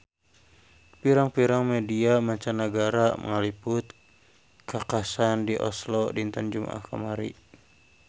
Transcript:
Pirang-pirang media mancanagara ngaliput kakhasan di Oslo dinten Jumaah kamari